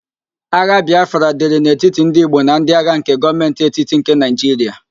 Agha Bịafra dịrị n'etiti ndị Igbo na ndi agha nke Gọọmentị etiti nke Naịjiria